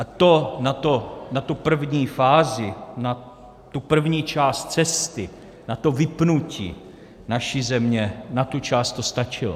A to na tu první fázi, na tu první část cesty, na to vypnutí naší země, na tuto část to stačilo.